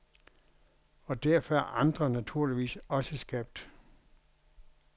Og derfor er andre naturligvis også skabt.